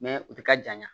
u tɛ ka janya